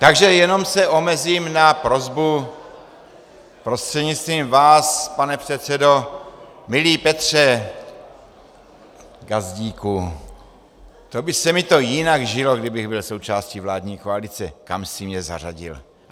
Takže jenom se omezím na prosbu prostřednictvím vás, pane předsedo: Milý Petře Gazdíku, to by se mi to jinak žilo, kdybych byl součástí vládní koalice, kam jsi mě zařadil.